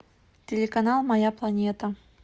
телеканал моя планета